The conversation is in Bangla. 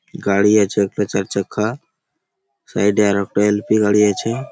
গাড়ি আছে একটা চার চাক্কা সাইড - এ আর একটা এল. পি. গাড়ি আছে |